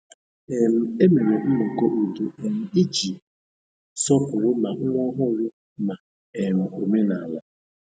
um E mere nnọkọ udo um iji sọpụrụ ma nwa ọhụrụ na um omenala.